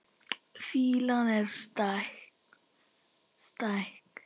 Fýlan er stæk.